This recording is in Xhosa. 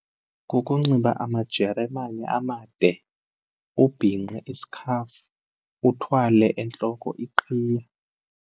Kukunxiba amajeremane amade, ubhinqe isikhafu, uthwale entloko iqhiya.